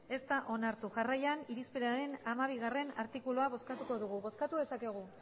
ez da onartu jarraian irizpenaren hamabiartikulua bozkatuko dugu bozkatu dezakegu